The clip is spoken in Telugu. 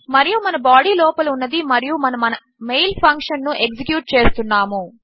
మరియు మన బాడీ లోపల ఉన్నది మరియు మనము మన మెయిల్ ఫంక్షన్ ను ఎగ్జిక్యూట్ చేస్తున్నాము